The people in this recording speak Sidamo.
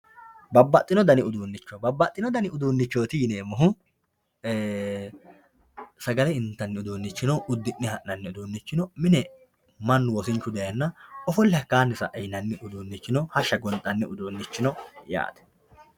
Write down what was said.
babbaxino dani uduunnicho babbaxino dani uduunnicho yineemmohu ee sagale intanni uduunnichi no uddi'ne ha'nanni uduunnichi no mine mannu wosinchu dayeenna ofolli hakkaanni sa'e yinanni uduunnichi no hashsha gonxanni uduunnichi no.